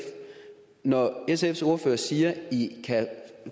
når sfs ordfører siger at i